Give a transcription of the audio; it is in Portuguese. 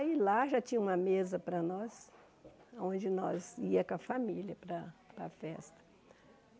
Aí lá já tinha uma mesa para nós, onde nós íamos com a família para a para a festa.